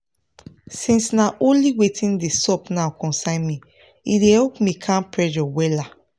since na only watin dey sup now concern me e help me calm pressure wella